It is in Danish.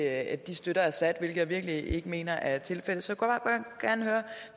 at de støtter assad hvilket jeg virkelig ikke mener er tilfældet så